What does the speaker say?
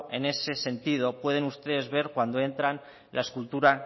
en ese sentido pueden ustedes ver cuando entran la escultura